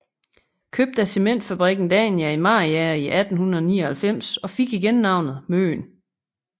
Købt af Cementfabrikken Dania i Mariager i 1899 og fik igen navnet Møen